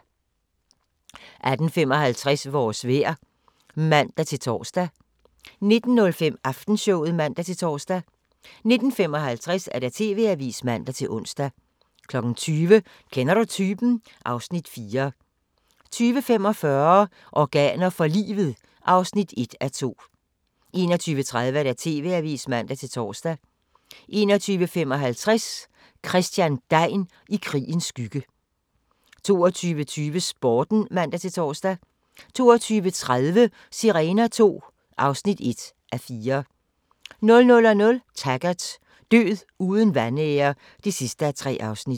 18:55: Vores vejr (man-tor) 19:05: Aftenshowet (man-tor) 19:55: TV-avisen (man-ons) 20:00: Kender du typen? (Afs. 4) 20:45: Organer for livet (1:2) 21:30: TV-avisen (man-tor) 21:55: Christian Degn i krigens skygge 22:20: Sporten (man-tor) 22:30: Sirener II (1:4) 00:00: Taggart: Død uden vanære (3:3)